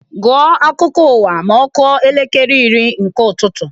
Gụọ akụkọ ụwa ma ọ kụọ elekere iri nke ụtụtụ!